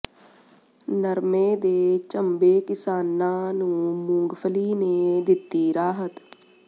ਨਰਮੇ ਦੇ ਝੰਬੇ ਕਿਸਾਨਾਂ ਨੂੰ ਮੂੰਗਫਲੀ ਨੇ ਦਿੱਤੀ ਰਾਹਤ